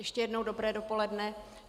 Ještě jednou dobré dopoledne.